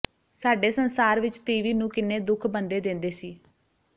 ਸਾਡੇ ਸੰਸਾਰ ਵਿੱਚ ਤੀਵੀ ਨੂੰ ਕਿਨੇ ਦੁੱਖ ਬੰਦੇ ਦੇਂਦੇ ਸੀ